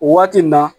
O waati nin na